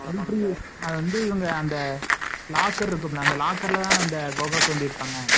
military அதுவந்து இவங்க அந்த locker ல இருக்கும்ல அந்த locker தான குகை தோண்டிருப்பாங்க